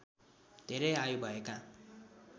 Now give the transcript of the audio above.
धेरै आयु भएका